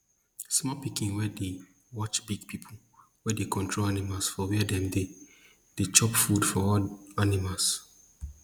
small pikin dey watch big pipo wey dey control animals for where dem dey chop food for all animals